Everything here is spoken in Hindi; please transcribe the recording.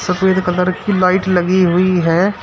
सफेद कलर की लाइट लगी हुई है।